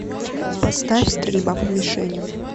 поставь стрельба по мишеням